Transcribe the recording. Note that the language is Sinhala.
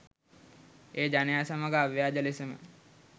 ඒ ජනයා සමග අව්‍යාජ ලෙසම